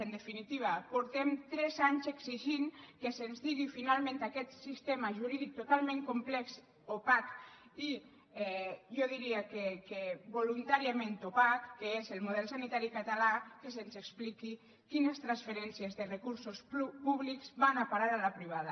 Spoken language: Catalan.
en definitiva fa tres anys que exigim que se’ns digui finalment aquest sistema jurídic totalment complex opac i jo diria que voluntàriament opac que és el model sanitari català que se’ns expliqui quines transferències de recursos públics van a parar a la privada